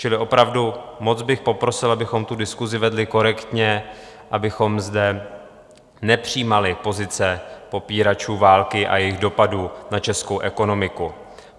Čili opravdu moc bych poprosil, abychom tu diskusi vedli korektně, abychom zde nepřijímali pozice popíračů války a jejich dopadů na českou ekonomiku.